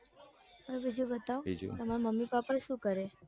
બીજું બતાઓ તામર મમ્મી પપા શું કરે?